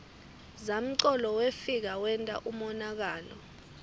zamcolo wefika wenta umonakalo